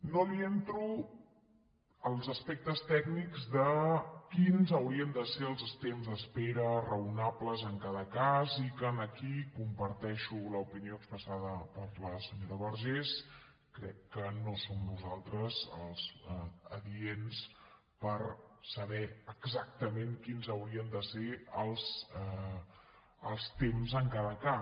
no li entro als aspectes tècnics de quins haurien de ser els temps d’espera raonables en cada cas i que aquí comparteixo l’opinió expressada per la senyora vergés crec que no som nosaltres els adients per saber exactament quins haurien de ser els temps en cada cas